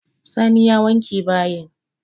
Sani ya wanke bayin.